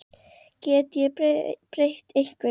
Get ég breytt einhverju?